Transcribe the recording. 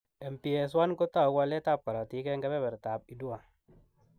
MPS 1 kotau waletab korotik eng kebertab IDUA.